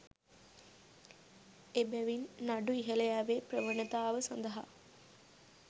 එබැවින් නඩු ඉහළ යෑමේ ප්‍රවණතාව සඳහා